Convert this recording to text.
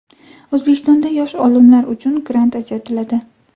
O‘zbekistonda yosh olimlar uchun grant ajratiladi.